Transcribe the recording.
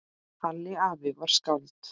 Halli afi var skáld.